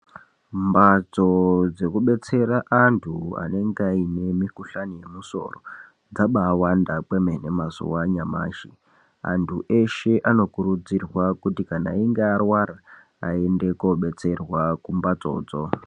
Mbatso dzekubetsera antu anonga aine mikuhlani yemusoro dzabawanda kwemene mazuva anyamashi. Antu eshe anokurudzirwa kuti kana einge arwara aende kobetserwa kumbatsodzo.